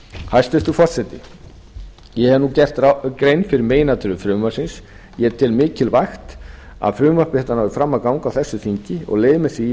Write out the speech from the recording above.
hæstvirtur forseti ég hef nú gert grein fyrir meginatriðum frumvarpsins ég tel mikilvægt að frumvarp þetta nái fram að ganga á þessu þingi og leyfi mér því